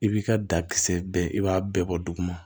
I b'i ka dakisɛ bɛn i b'a bɛɛ bɔ duguma